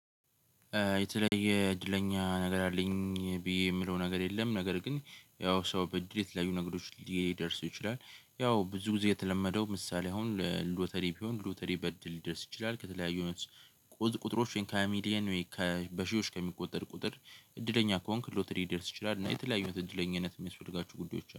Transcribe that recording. የተለየ እድለኛ ነገር አለኝ ብዬ የምለው ነገር የለም። ነገር ግን ያው ሰው በእድል የተለያዩ ነገሮች ሊደርስ ይችላል። ያው ብዙ ጊዜ የተለመደው ምሳሌ አሁን ሎተሪ ቢሆን ሎተሪ በድል ይደርስ ይችላል። ከተለያዩ አይነት ቁጥሮች ወይም ካሚሊየን ወይም በሺዎች ከሚቆጠር ቁጥር እድለኛ ከሆንክ ሎተሪ ሊደርስ ይችላል። እና የተለያዩ እድለኛነት የሚያስፈልጋችሁ ጉዳዮች